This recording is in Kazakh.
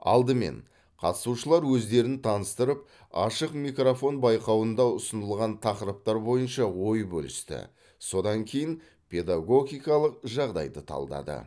алдымен қатысушылар өздерін таныстырып ашық микрофон байқауында ұсынылған тақырыптар бойынша ой бөлісті содан кейін педагогикалық жағдайды талдады